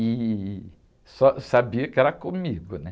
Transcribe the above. E só, sabia que era comigo, né?